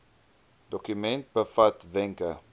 dokument bevat wenke